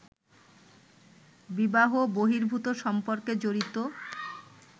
বিবাহ-বহির্ভূত সম্পর্কে জড়িত